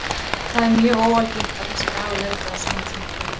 Það er mjög óalgengt að þessi dagur lendi á sama tíma og leikur.